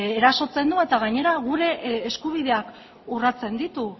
erasotzen du eta gainera gure eskubideak urratzen ditu